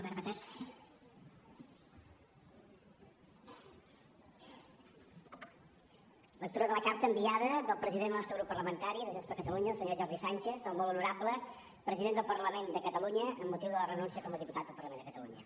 lectura de la carta enviada pel president del nostre grup parlamentari de junts per catalunya el senyor jordi sànchez al molt honorable president del parlament de catalunya amb motiu de la renúncia com a diputat del parlament de catalunya